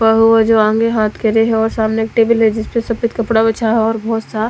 सामने एक टेबल है जिसपे सफ़ेद कपडा बिछा है बोहोत साफ--